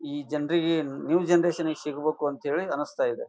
ಈ ಜನರಿಗೆ new generation ಸಿಗ್ಬೇಕು ಅಂತೆಳಿ ಅನಿಸ್ತಾ ಇದೆ.